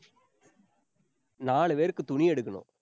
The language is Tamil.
நாலு பேருக்கு, துணி எடுக்கணும்.